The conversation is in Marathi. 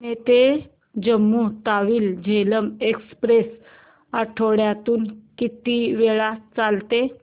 पुणे ते जम्मू तावी झेलम एक्स्प्रेस आठवड्यातून किती वेळा चालते